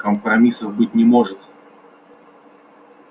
компромиссов быть не может